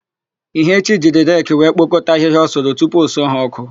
Ihechi jiri reki wee kpokọta ahịhịa ọ sụrụ tupu o suo ha ọ́kụ́.